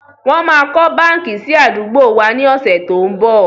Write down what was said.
Wọn máa kọ́ báńkì sì àdúgbò wá ní ọ̀sẹ̀ tó n bọ̀.